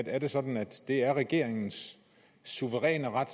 er det sådan at det er regeringens suveræne ret